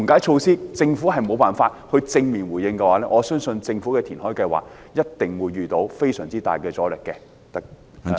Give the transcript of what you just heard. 如果政府沒有緩解措施作出正面回應，我相信政府的填海計劃一定會遇到非常大的阻力。